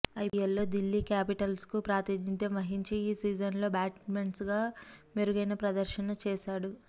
ఐపీఎల్లో దిల్లీ క్యాపిటల్స్కు ప్రాతినిధ్యం వహించి ఈ సీజన్లో బ్యాట్స్మెన్గా మెరుగైన ప్రదర్శనే చేశాడు